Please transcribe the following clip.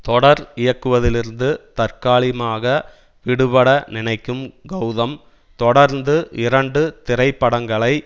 தொடர் இயக்குவதிலிருந்து தற்காலிகமாக விடுபட நினைக்கும் கௌதம் தொடர்ந்து இரண்டு திரைப்படங்களை